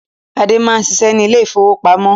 Ade máa ń ṣiṣẹ́ ní ilé ìfowópamọ́.